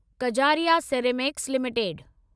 Kajaria ceramics limited